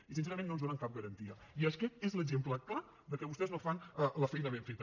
i sincerament no ens donen cap garantia i aquest és l’exemple clar de que vostès no fan la feina ben feta